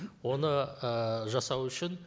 оны ы жасау үшін